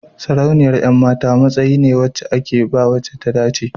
sarauniyar 'yan mata matsayi ne da ake ba wace ta dace